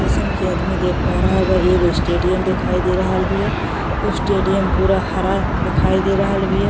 जैसन कि आदमी देख पा रहल बा एगो स्टेडियम दिखाई दे रहल बिया। उ स्टेडियम पूरा हरा दिखाई दे रहल बिया।